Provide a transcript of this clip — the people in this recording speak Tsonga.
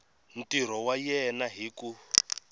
ntirho wa yena hi ku